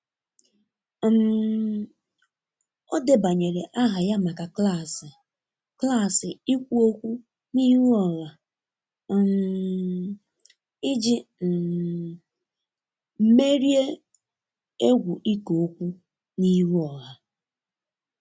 um o debanyere aha ya maka klasi klasi ikwụ okwụ n'ihu oha um iji um merie egwu iko okwu n'ihu ọha